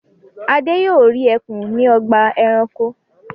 Adé yóò rí ẹkùn ní ọgbà-ẹranko.